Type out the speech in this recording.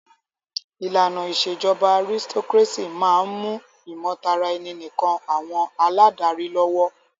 ìlànà ìṣèjọba aristocrácy máà ń mú ìmọ̀taraẹni nìkàn àwọn aládarí lọ́wọ́.